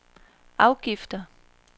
afgifter